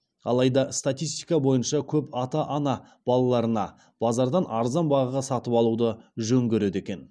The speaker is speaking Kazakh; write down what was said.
алайда статистика бойынша көп ата ана балаларына базардан арзан бағаға сатып алуды жөн көреді екен